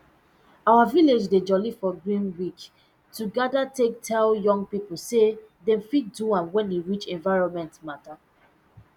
our village dey jolly for green week to um take tell young pipu say dem fit do am wen e reach environment matter